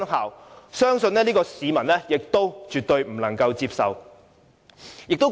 我相信這是市民絕對不能接受的。